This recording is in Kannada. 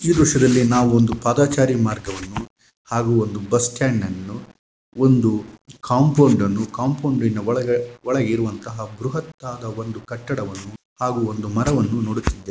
ಈ ಚಿತ್ರದಲ್ಲಿ ನಾವು ಒಂದು ಪಾದಚಾರಿ ಮಾರ್ಗವನ್ನು ಹಾಗೂ ಬಸ್ ಸ್ಟ್ಯಾಂಡ್ ಅನ್ನು ನೋಡಬಹುದು ಹಾಗೂ ಕಾಂಪೌಂಡನ್ನು ಕಾಂಪೌಂಡ್ ಒಳಗಡೆ ಇರುವ ಕಟ್ಟಡವನ್ನು ಹಾಗೂ ಮರವನ್ನು ನೋಡುತ್ತಿದ್ದೇವೆ.